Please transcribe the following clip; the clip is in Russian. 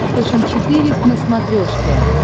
фэшен четыре к на смотрешке